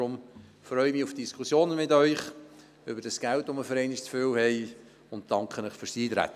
Ich freue mich auf die Diskussion mit Ihnen über Geld, welches wir für einmal zu viel haben, und danke Ihnen für das Eintreten.